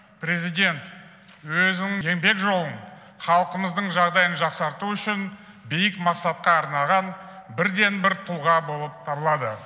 президент өзінің еңбек жолын халқымыздың жағдайын жақсарту үшін биік мақсатқа арнаған бірден бір тұлға болып табылады